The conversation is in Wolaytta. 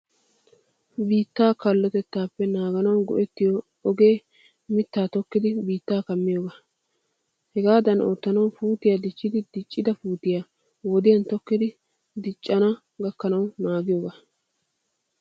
Biittaa kallotettappe naaganawu go'ettiyo ogee miitta tokkidi biitta kammiyoga. Hegadan oottanawu puutiyaa dichchidi diccida puutiyaa wodiyan tokkidi diccana gakkanawu naagiyogana.